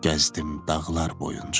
Gəzdim dağlar boyunca mən.